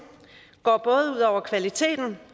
går både ud over kvaliteten